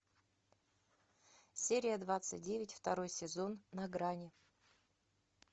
серия двадцать девять второй сезон на грани